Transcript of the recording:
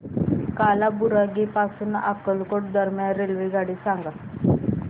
कालाबुरागी पासून अक्कलकोट दरम्यान रेल्वेगाडी सांगा